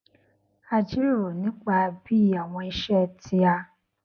a jíròrò nípa bí àwọn isé tí a